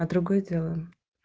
а другое дело